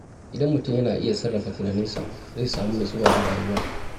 Idan mutum yana iya sarrafa tunaninsa, zai samu nutsuwa a rayuwa.